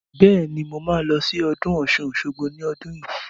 Bẹ́ẹ̀ni, mo ma lọ sí ọdún Ọ̀ṣun-Òṣogbo ní ọdún yìí